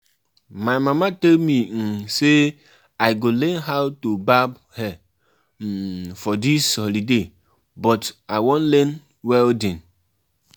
My guy dey struggle to balance im Muslim convictions wit im traditional cultural practices.